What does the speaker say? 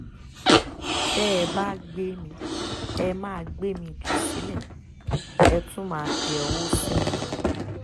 tẹ́ ẹ bá gbé mi ẹ máa gbé mi jù sílé ẹ tún máa tẹ ọwọ́ sí mi ni